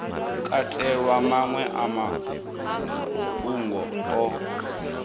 katelwa maṅwe a mafhungo o